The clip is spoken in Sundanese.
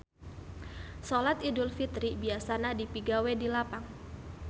Solat Idul Fitri biasana dipigawe di lapang.